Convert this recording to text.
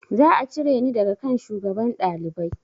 Za a cire ni daga kan shugaban ɗalibai